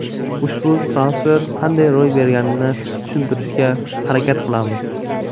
Ushbu transfer qanday ro‘y berganini tushuntirishga harakat qilamiz.